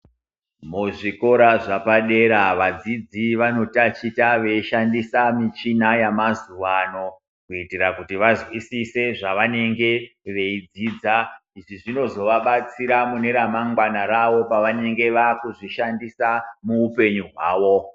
Muzvikora zvapadera vadzidzi vanotachita veishandisa michina yemazuvano kuitira kuti vazwisise zvavanenge veidzida kuti zvinozovabatsira mune ramangwana pavanenge vaakuzvishandisa muupenyu hwavo.